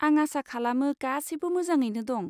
आं आसा खालामो गासैबो मोजाङैनो दं।